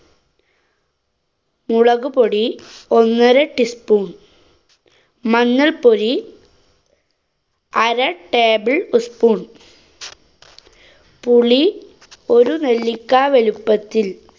മുളകുപൊടി ഒന്നര teaspoon. മഞ്ഞള്‍പ്പൊടി അര table spoon. പുളി ഒരു നെല്ലിക്കാ വലുപ്പത്തില്‍.